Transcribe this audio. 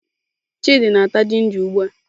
Chidi na-ata ginger ugbua.